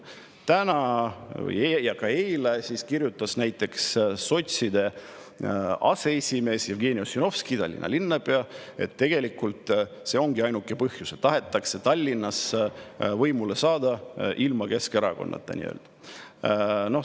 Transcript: Täna ja ka eile kirjutas näiteks sotside aseesimees Jevgeni Ossinovski, Tallinna linnapea, et see ongi ainuke põhjus, et tahetakse Tallinnas võimule saada, ilma Keskerakonnata nii-öelda.